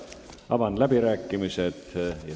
Avan läbirääkimised.